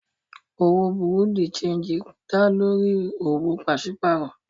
Òwò bùrú dì séǹjì dá lórí owó pàṣípàrọ̀